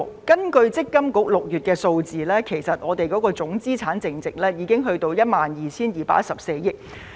根據強制性公積金計劃管理局6月份數字，總資產淨值已達到 12,214 億元。